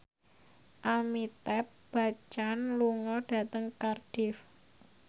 Amitabh Bachchan lunga dhateng Cardiff